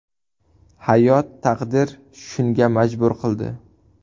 Hayot, taqdir shunga majbur qildi.